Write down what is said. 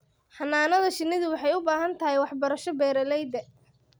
Xannaanada shinnidu waxay u baahan tahay waxbarasho beeralayda.